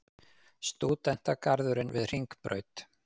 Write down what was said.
Stúdentagarðurinn við Hringbraut.